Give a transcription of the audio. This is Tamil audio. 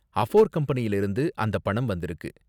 அஃபோர் கம்பெனியில இருந்து அந்த பணம் வந்திருக்கு.